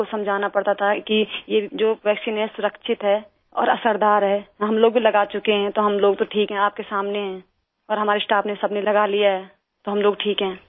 लोगों को समझाना पड़ता था कि ये जो वैक्सीन है सुरक्षित है और असरदार है हम लोग भी लगा चुके हैं तो हम लोग तो ठीक है आप के सामने हैं और हमारे स्टाफ ने सब ने लगा लिया है तो हम लोग ठीक हैं